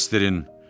Bəsdirin!